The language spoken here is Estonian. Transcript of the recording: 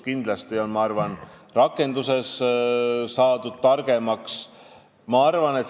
Kindlasti on rakenduse koha pealt targemaks saadud.